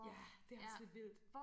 Ja det også lidt vildt